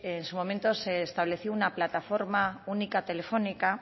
en su momento se estableció una plataforma única telefónica